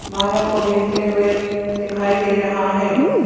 माला को बेचते हुए दिखाई दे रहा है।